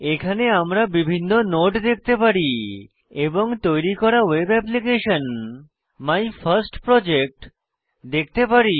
এখানে আমরা বিভিন্ন নোড দেখতে পারি এবং তৈরী করা web application my first project দেখতে পারি